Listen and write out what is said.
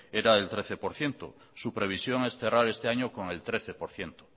era el trece por ciento su previsión es cerrar este año con el trece por ciento